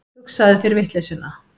Hugsaðu þér vitleysuna.